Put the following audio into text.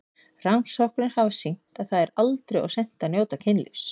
Rannsóknir hafa sýnt að það er aldrei of seint að njóta kynlífs.